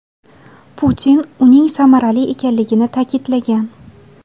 Putin uning samarali ekanligini ta’kidlagan.